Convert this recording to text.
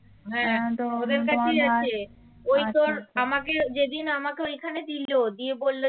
আমাকে যেদিন আমাকে ওখানে দিল দিয়ে বলল যে